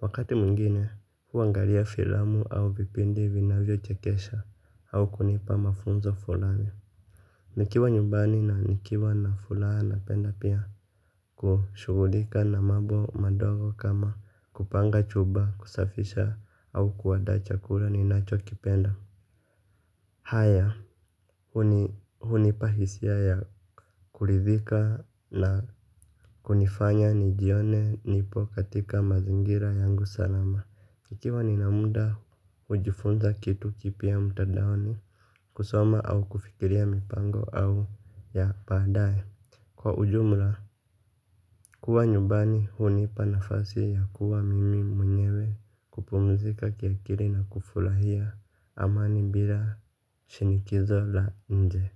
Wakati mwingine, huangalia filamu au vipindi vinavyochekesha au kunipa mafunzo fulani. Nikiwa nyumbani na nikiwa na furaha napenda pia kushughulika na mambo madogo kama kupanga chupa kusafisha au kuandaa chakula ninachokipenda. Haya, hunipa hisia ya kuridhika na kunifanya nijione nipo katika mazingira yangu salama. Nikiwa nina muda hujifunza kitu kipya mtandaoni kusoma au kufikiria mipango au ya baadaye, kwa ujumla kuwa nyumbani hunipa nafasi ya kuwa mimi mwenyewe kupumzika kiakili na kufurahia amani bila shinikizo la nje.